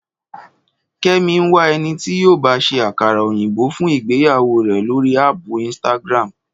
Kẹ́mi ń wá ẹni tí yóò ba ṣé àkàrà òyìnbó fún ìgbéyàwó rẹ̀ lórí áàpù Instagram